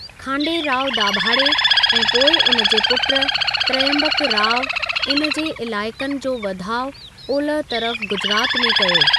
खांडेराव दाभाडे ऐं पोइ उन जे पुट त्रयंबकराव, इन जे इलाइक़नि जो वधाउ ओलह तरफ गुजरात में कयो।